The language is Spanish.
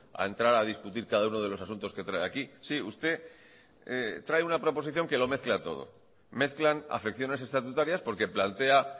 a entrar a discutir cada uno de los asuntos que trae aquí sí usted trae una proposición que lo mezcla todo mezclan afecciones estatutarias porque plantea